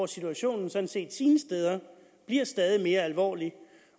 situationen sådan set sine steder bliver stadig mere alvorlig